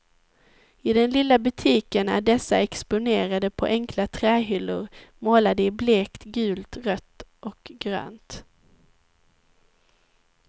I den lilla butiken är dessa exponerade på enkla trähyllor målade i blekt gult, rött och grönt.